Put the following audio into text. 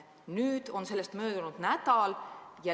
Nüüd on sellest möödunud nädal.